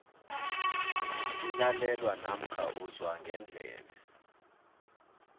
kulalelwa namkha uzwa ngendlebe